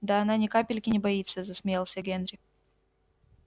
да она ни капельки не боится засмеялся генри